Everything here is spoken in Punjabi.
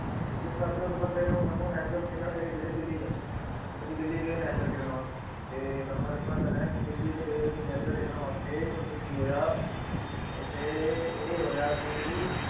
ਇਸ ਕਰਕੇ ਉਸ ਬੰਦੇ ਨੇ ਸਾਨੂੰ national ਖੇਲਣ ਲੈ ਕੇ ਗਏ ਦਿੱਲੀ 'ਚ, ਅਸੀਂ ਦਿੱਲੀ ਗਏ national ਖੇਲਣ ਵਾਸਤੇ ਤੇ ਤੁਹਾਨੂੰ ਮੈਂ ਦੱਸਣਾ ਚਾਹੁਨਾ ਹੈ, ਦਿੱਲੀ 'ਚ ਗਏ ਅਸੀਂ national ਖੇਲਣ ਵਾਸਤੇ ਉੱਥੇ ਕੀ ਹੋਇਆ, ਉੱਥੇ ਇਹ ਹੋਇਆ ਕਿ